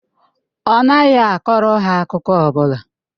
Ọ naghị akọrọ ha akụkọ ọ bụla.